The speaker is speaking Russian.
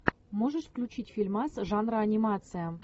можешь включить фильмас жанра анимация